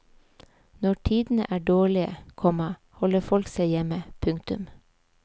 Når tidene er dårlige, komma holder folk seg hjemme. punktum